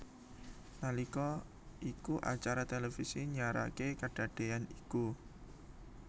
Nalika iku acara televisi nyiaraké kadadéyan iku